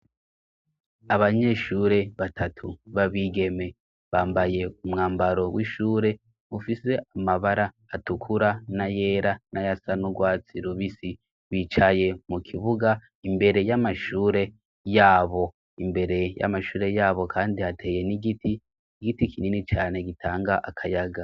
Abanyeshure batatu babigeme bambaye umwambaro w'ishure ufise amabara atukura na yera n'aya sanaurwatsi lubisi bicaye mu kibuga imbere y'amashure yabo imbere y'amashure yabo, kandi hateye n'igiti igiti kinini cane agitanga akayaga.